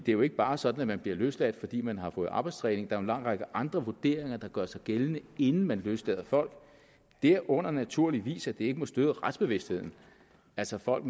jo ikke bare sådan at man bliver løsladt fordi man har fået arbejdstræning der er en lang række andre vurderinger der gør sig gældende inden man løslader folk derunder naturligvis at det ikke må støde retsbevidstheden altså folk